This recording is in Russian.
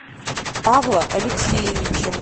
павла алексеевича